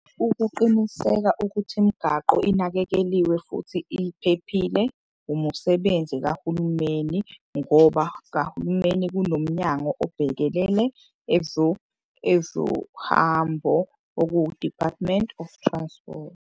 Ukuqiniseka ukuthi imigaqo inakekeliwe futhi iphephile umusebenzi kahulumeni. Ngoba kahulumeni kunomnyango obhekelele ezohambo okuwu-Department of Transport.